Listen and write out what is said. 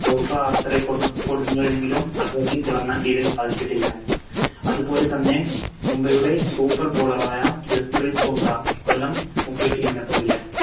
എങ്കിലും അദ്ദേഹത്തിന് തിളങ്ങാൻ തെരെ സാധിച്ചിട്ടില്ല അതുപോലെ തന്നെ മുംബൈയുടെ Super bowler ആയ ജസ്പ്രീത് ബുംറ ഇക്കൊല്ലം പുതിയ Team നൊപ്പം ഇല്ല